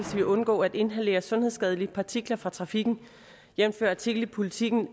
vil undgå at inhalere sundhedsskadelige partikler fra trafikken jævnfør artikel i politiken